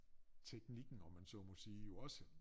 Teknikken om man så mig sige jo også